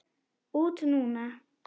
Út núna?